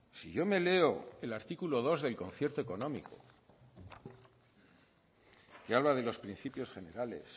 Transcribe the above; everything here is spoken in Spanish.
si yo me leo el artículo dos del concierto económico que habla de los principios generales